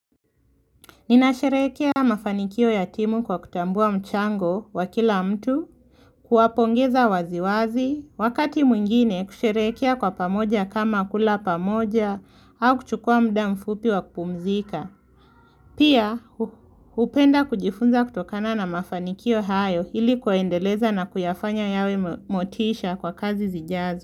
Ninasherehkea mafanikio ya timu kwa kutambua mchango wa kila mtu, kuwapongeza waziwazi, wakati mwingine kusherehekea kwa pamoja kama kula pamoja au kuchukuwa muda mfupi wa kupumzika. Pia hupenda kujifunza kutokana na mafanikio hayo, ilikuwaendeleza na kuyafanya yawe motisha kwa kazi zijazo.